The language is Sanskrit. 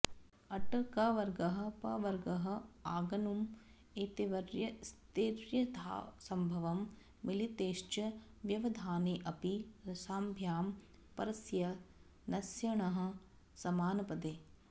अट् कवर्गः पवर्गः आङ् नुम् एतैर्व्यस्तैर्यथासंभवं मिलितैश्च व्यवधानेऽपि रषाभ्यां परस्य नस्य णः समानपदे